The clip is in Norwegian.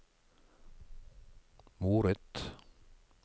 moret